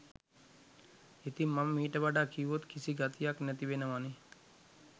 ඉතිං මම මීට වඩා කිව්වොත් කිසි ගතියක් නැති වෙනවනෙ